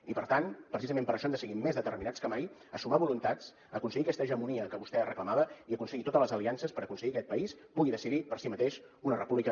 i per tant precisament per això hem de seguir més determinats que mai a sumar voluntats a aconseguir aquesta hegemonia que vostè reclamava i a aconseguir totes les aliances per aconseguir que aquest país pugui decidir per si mateix una república